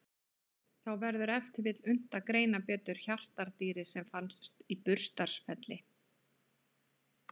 Þá verður ef til vill unnt að greina betur hjartardýrið sem fannst í Burstarfelli.